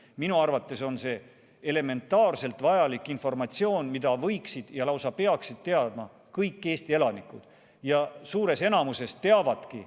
Minu arvates on see elementaarselt vajalik informatsioon, mida võiksid ja lausa peaksid teadma kõik Eesti elanikud, ja enamuses teavadki.